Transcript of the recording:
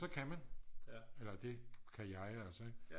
så kan man eller det kan jeg altså